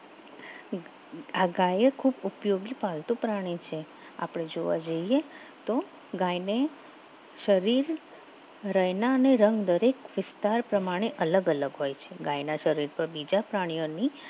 આ ગાયે એ ખૂબ ઉપયોગી પાલતુ પ્રાણી છે આપણે જોવા જઈએ તો ગાયને શરીર રઈના અને રંગ વિસ્તાર પ્રમાણે અલગ અલગ હોય છે ગાયના શરીર પર બીજા પ્રાણીઓની